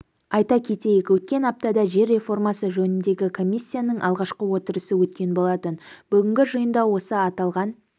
айта кетейік өткен аптада жер реформасы жөніндегі комиссияның алғашқы отырысы өткен болатын бүгінгі жиында осы аталған